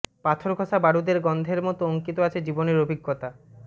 পাথর ঘষা বারোদের গন্ধের মতো অঙ্কিত আছে জীবনের অভিজ্ঞতা